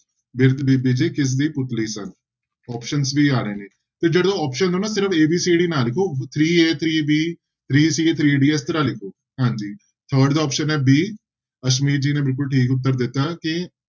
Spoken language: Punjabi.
ਬਿਰਧ ਬੀਬੀ ਜੀ ਕਿਸਦੀ ਪੁਤਲੀ ਸਨ options ਵੀ ਆ ਰਹੇ ਨੇ, ਤੇ ਜਦੋਂ option ਹਨਾ ਸਿਰਫ਼ a, b, c, d ਨਾ ਲਿਖੋ three a, three b, three c, three d ਇਸ ਤਰ੍ਹਾਂ ਲਿਖੋ ਹਾਂਜੀ third ਦਾ option ਹੈ b ਅਸਮੀਤ ਜੀ ਨੇ ਬਿਲਕੁਲ ਠੀਕ ਉੱਤਰ ਦਿੱਤਾ ਕਿ